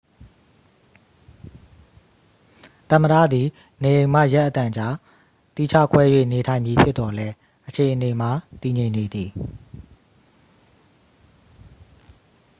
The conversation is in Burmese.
သမ္မတသည် နေအိမ်မှ ရက်အတန်ကြာ သီးခြားခွဲ၍နေထိုင်မည်ဖြစ်သော်လည်းအခြေအနေမှာ တည်ငြိမ်နေသည်